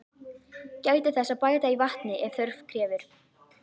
Gætið þess að bæta í vatni ef þörf krefur.